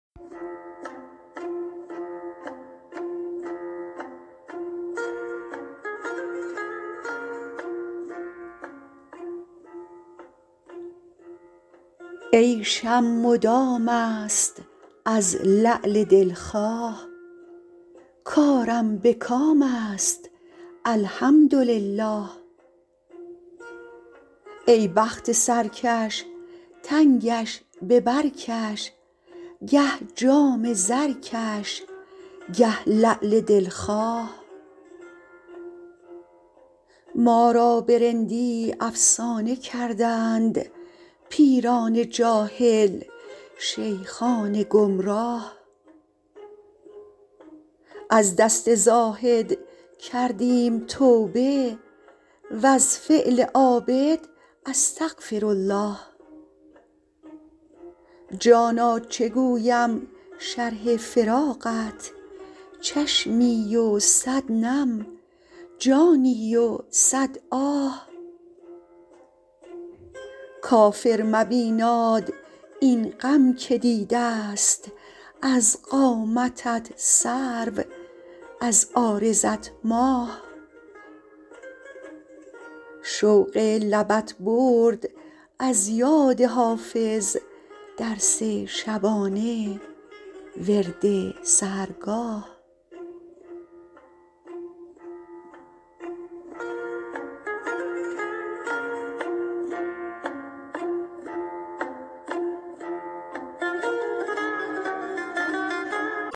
عیشم مدام است از لعل دل خواه کارم به کام است الحمدلله ای بخت سرکش تنگش به بر کش گه جام زرکش گه لعل دل خواه ما را به رندی افسانه کردند پیران جاهل شیخان گمراه از دست زاهد کردیم توبه و از فعل عابد استغفرالله جانا چه گویم شرح فراقت چشمی و صد نم جانی و صد آه کافر مبیناد این غم که دیده ست از قامتت سرو از عارضت ماه شوق لبت برد از یاد حافظ درس شبانه ورد سحرگاه